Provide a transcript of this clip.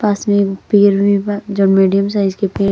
पास में एगो पेड़ भी बा जोन मिडियम साइज के पे --